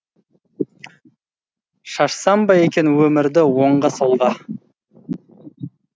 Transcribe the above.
шашсам ба екен өмірді оңға солға